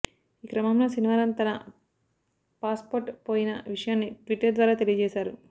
ఈ క్రమంలో శనివారం తన పాస్ పోర్ట్ పోయిన విషయాన్ని ట్వీటర్ ద్వారా తెలియజేశాడు